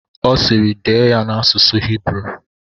Ọ sịịrị, dee ya n'asụsụ Hibru!